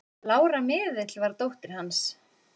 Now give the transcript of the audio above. Lára miðill var dóttir hans.